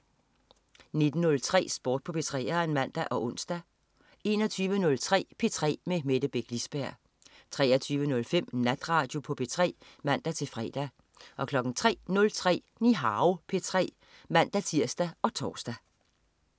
19.03 Sport på 3'eren (man og ons) 21.03 P3 med Mette Beck Lisberg 23.05 Natradio på P3 (man-fre) 03.03 Nihao P3 (man-tirs og tors)